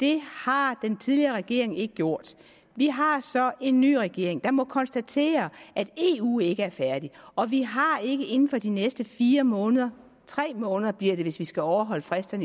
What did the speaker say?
det har den tidligere regering ikke gjort vi har så en ny regering jeg må konstatere at eu ikke er færdig og vi har ikke inden for de næste fire måneder tre måneder bliver det hvis vi skal overholde fristerne i